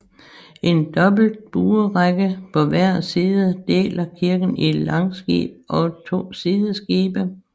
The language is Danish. En dobbelt buerække på hver side deler kirken i langskib og to sideskibe